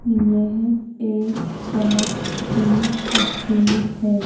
येह एक शॉप की तस्वीर हैं।